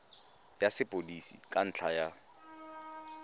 ya sepodisi ka ntlha ya